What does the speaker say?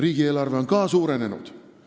Riigieelarve on ka suurenenud.